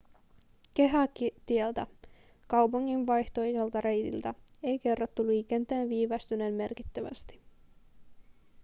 kehätieltä kaupungin vaihtoehtoiselta reitiltä ei kerrottu liikenteen viivästyneen merkittävästi